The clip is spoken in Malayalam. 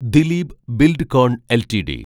ദിലീപ് ബിൽഡ്കോൺ എൽറ്റിഡി